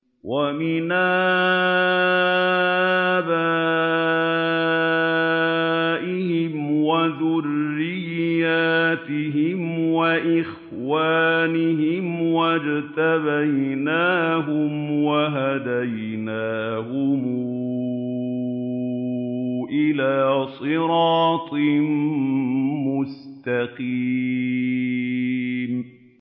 وَمِنْ آبَائِهِمْ وَذُرِّيَّاتِهِمْ وَإِخْوَانِهِمْ ۖ وَاجْتَبَيْنَاهُمْ وَهَدَيْنَاهُمْ إِلَىٰ صِرَاطٍ مُّسْتَقِيمٍ